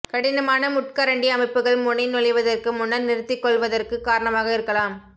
கடினமான முட்கரண்டி அமைப்புகள் முனை நுழைவதற்கு முன்னர் நிறுத்திக்கொள்வதற்குக் காரணமாக இருக்கலாம்